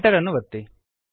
Enter ಅನ್ನು ಒತ್ತಿರಿ